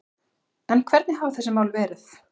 En hvernig hafa þessi mál verið